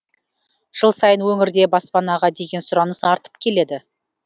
жыл сайын өңірде баспанаға деген сұраныс артып келеді